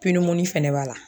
pinimuni fɛnɛ b'a la